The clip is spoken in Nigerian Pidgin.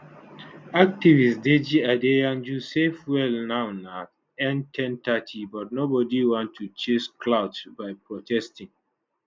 activist deji adeyanju say fuel now na n1030 but nobody want to chase clout by protesting